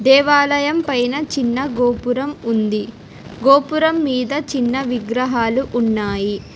దేవాలయం పైన చిన్న గోపురం ఉంది గోపురం మీద చిన్న విగ్రహాలు ఉన్నాయి.